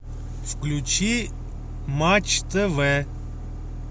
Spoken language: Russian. включи матч тв